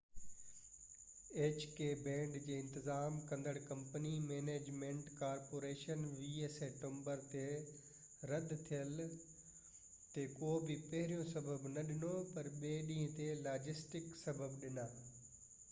band جي انتظام ڪندڙ company hk management corporation 20 September تي رد ٿيل تي ڪو بہ پهريون سبب نہ ڏنو پر ٻي ڏينهن تي لاجسٽڪ سبب ڏنا